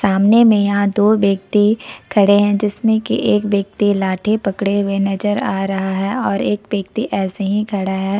आमने मे यहां दो व्यक्ति खड़े हैं जिसमें की एक व्यक्ति लाठी पकड़े हुए नजर आ रहा है और एक व्यक्ति ऐसे ही खड़ा है।